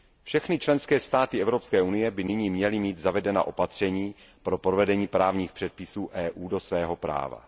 Všechny členské státy Evropské unie by nyní měly mít zavedena opatření pro provedení právních předpisů EU do svého práva.